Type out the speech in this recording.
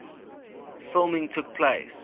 filming took place